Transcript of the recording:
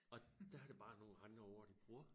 Og dér er det bare nogen andre ord de bruger